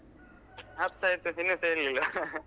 ಹತ್ತೈತು ಇನ್ನುಸ ಏಳ್ಳಿಲ್ಲ .